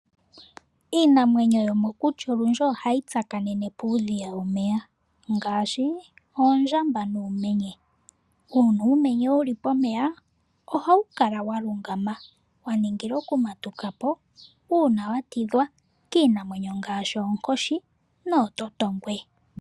Iinamwenyo yomokuti olundji ohayi tsakanene puudhiya womeya ngaashi oondjamba nuumenye. Uuna uumenye wu li pomeya ohawu kala wa lungama, wa ningila oku matuka po uuna wa tidhwa kiinamwenyo ngaashi oonkoshi noototongwe.